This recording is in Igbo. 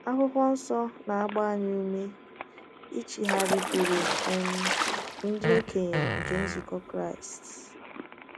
akwụkwo nsọ na - agba anyị ume ichigharịkwuru um “ ndị okenye nke nzukọ Kraịst. ”